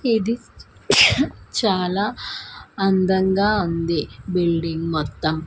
ఇది చాలా అందంగా ఉంది బిల్డింగ్ మొత్తం--